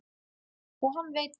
Og hann veit það.